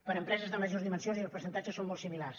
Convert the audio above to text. per a empreses de majors dimensions els percentatges són molt similars